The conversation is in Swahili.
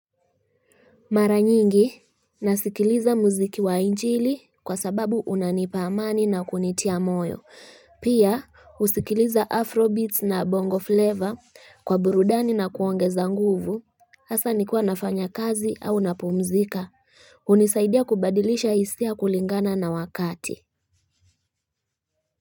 Mara nyingi nasikiliza muziki wa injili kwa sababu unanipa amani na kunitia moyo pia husikiliza afro beats na bongo flavor kwa burudani na kuongeza nguvu Hasa nikuwa nafanya kazi au napumzika hunisaidia kubadilisha hisia kulingana na wakati.